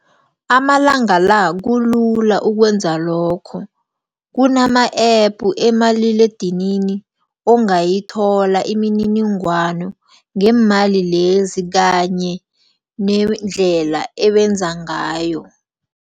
Amalanga la kulula ukwenza lokho kunama-app emaliledinini ongayithola imininingwano ngeemali lezi kanye nendlela ebenza ngayo.